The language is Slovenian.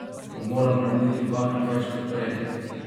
Bom moral narediti dvakrat več kot prej?